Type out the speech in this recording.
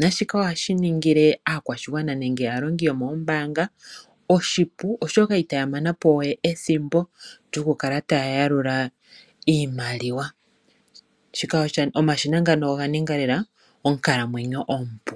nashika ohashi ningile aakwashigwana nenge aalongi yo moombanga oshipu oshoka itaya mana po we ethimbo lyokukala taya yalula iimaliwa. Omashina ngano oga ninga lela onkalamwenyo ompu.